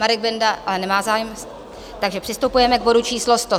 Marek Benda ale nemá zájem, takže přistupujeme k bodu číslo